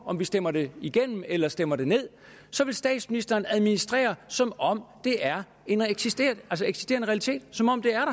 om vi stemmer det igennem eller stemmer det ned så vil statsministeren administrere som om det er en eksisterende eksisterende realitet som om det er